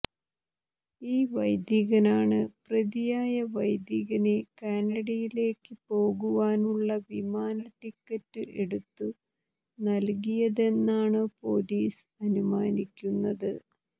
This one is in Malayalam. ഈ വൈദികനാണ് പ്രതിയായ വൈദികനെ കാനഡയിലേക്ക് പോകുവാനുള്ള വിമാന ടിക്കറ്റ് എടുത്തു നല്കിയതെന്നാണു പോലീസ് അനുമാനിക്കുന്നത്